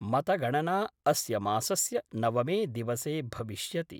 मतगणना अस्य मासस्य नवमे दिवसे भविष्यति।